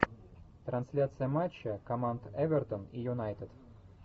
трансляция матча команд эвертон и юнайтед